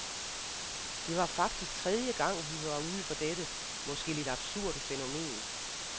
Det var faktisk tredje gang, vi var ude for dette måske lidt absurde fænomen.